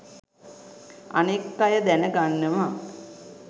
අනෙක් අය දැන ගන්නවා.